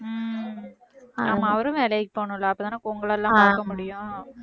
உம் ஆமா அவரும் வேலைக்குப் போகனும்ல அப்பத்தானே இப்போ உங்களெல்லாம் பார்க்க முடியும்